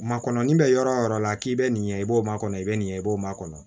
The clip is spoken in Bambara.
Makɔrɔni bɛ yɔrɔ o yɔrɔ la k'i bɛ nin ɲɛ i b'o makɔnɔ i bɛ nin b'o ma kɔnɔ